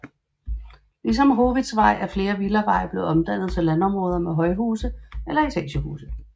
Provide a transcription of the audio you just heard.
Ligesom Howitzvej er flere villaveje blevet omdannet til områder med højhuse eller etagehuse